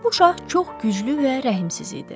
Bu şah çox güclü və rəhimsiz idi.